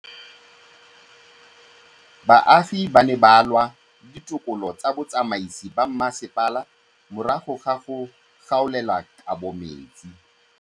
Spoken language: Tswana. Baagi ba ne ba lwa le ditokolo tsa botsamaisi ba mmasepala morago ga go gaolelwa kabo metsi